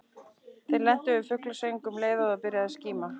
Þau lentu við fuglasöng um leið og byrjaði að skíma.